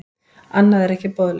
Annað er ekki boðlegt.